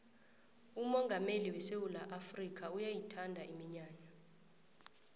umongameli wesewula afrikha uyayithanda iminyanya